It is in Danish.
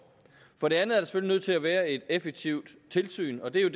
for det andet er der selvfølgelig nødt til at være et effektivt tilsyn og det er